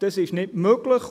Das ist nicht möglich.